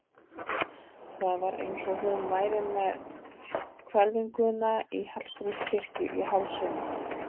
Það var eins og hún væri með hvelfinguna í Hallgrímskirkju í hálsinum.